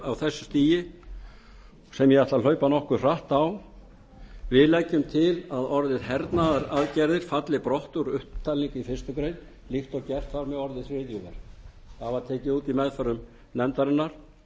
á þessu stigi sem ég ætla að hlaupa nokkuð hratt á við leggjum til að orðið hernaðaraðgerðir falli brott úr upptalningu í fyrstu grein líkt og gert var með orðið hryðjuverk það var tekið út í meðförum nefndarinnar